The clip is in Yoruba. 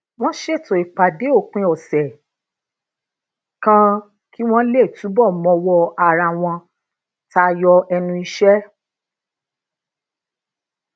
wón ṣètò ipàdé òpin òsè kan kí wón lè túbò mọwó ara wọn tayọ ẹnu iṣẹ